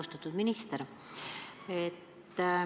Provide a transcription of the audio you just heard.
Austatud minister!